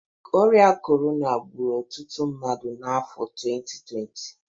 Ọrịa Corona gbụrụ ọtụtụ mmadụ n'afọ 2020